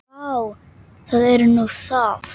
Vá, það er nú það.